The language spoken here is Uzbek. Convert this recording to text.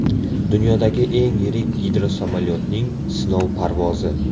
Dunyodagi eng yirik gidrosamolyotning sinov parvozi.